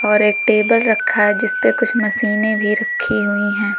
और एक टेबल रखा है जिस पर कुछ मशीन भी रखी हुई है।